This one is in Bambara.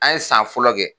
An ye san fɔlɔ kɛ